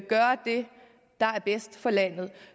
der er bedst for landet